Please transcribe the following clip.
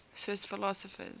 swiss philosophers